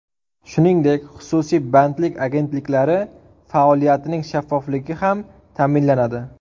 Shuningdek, xususiy bandlik agentliklari faoliyatining shaffofligi ham ta’minlanadi.